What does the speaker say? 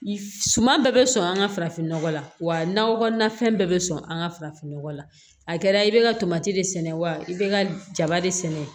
Suman bɛɛ bɛ sɔn an ka farafin nɔgɔ la wa nakɔ kɔnɔnafɛn bɛɛ bɛ sɔn an ka farafin nɔgɔ la a kɛra i bɛ ka tomati de sɛnɛ wa i bɛ ka jaba de sɛnɛ